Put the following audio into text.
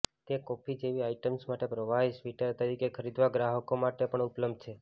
તે કોફી જેવી આઇટમ્સ માટે પ્રવાહી સ્વીટર તરીકે ખરીદવા ગ્રાહકો માટે પણ ઉપલબ્ધ છે